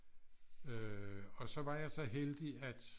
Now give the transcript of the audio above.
Øh og så var jeg så heldig at